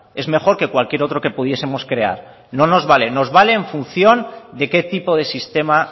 es mejor que cualquier otro que pudiesemos crear no nos vale nos vale en función de qué tipo de sistema